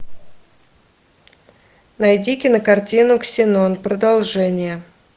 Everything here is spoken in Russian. найди кинокартину ксенон продолжение